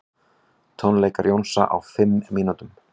Tónleikar Jónsa á fimm mínútum